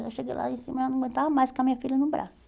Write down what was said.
Eu já cheguei lá em cima e não aguentava mais com a minha filha no braço.